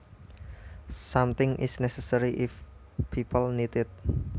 Something is necessary if people need it